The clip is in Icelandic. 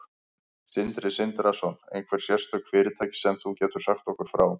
Sindri Sindrason: Einhver sérstök fyrirtæki sem þú getur sagt okkur frá?